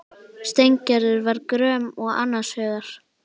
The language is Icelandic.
Steingerður var gröm og annars hugar.